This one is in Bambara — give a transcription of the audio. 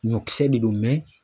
Ɲɔkisɛ de don